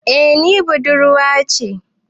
Eh ni budurwa ce.